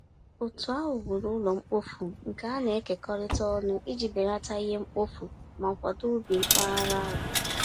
Otu ahụ wuru ụlọ mkpofu nke a na-ekekọrịta ọnụ iji belata ihe mkpofu ma kwado ubi mpaghara ahụ.